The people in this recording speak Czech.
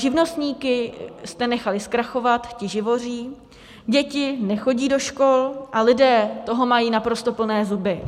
Živnostníky jste nechali zkrachovat, ti živoří, děti nechodí do škol a lidé toho mají naprosto plné zuby.